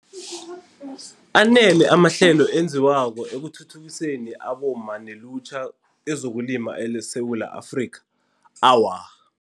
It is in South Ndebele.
Anele amahlelo enziwako ekuthuthukiseni abomma nelutjha kezokulima eSewula Afrikha? Awa.